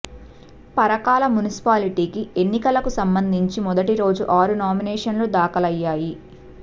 పరకాల మున్సిపాలిటీకి ఎన్నికలకు సంబంధించి మొదటిరోజు ఆరు నామినేషన్లు దాఖలా అయ్యాయి